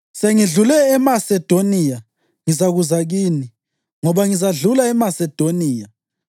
Sengidlule eMasedoniya ngizakuza kini, ngoba ngizadlula eMasedoniya.